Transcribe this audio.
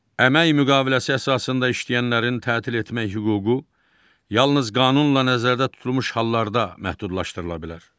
Əmək müqaviləsi əsasında işləyənlərin tətil etmək hüququ yalnız qanunla nəzərdə tutulmuş hallarda məhdudlaşdırıla bilər.